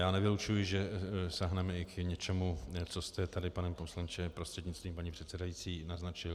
Já nevylučuji, že sáhneme i k něčemu, co jste tady, pane poslanče prostřednictvím paní předsedající, naznačil.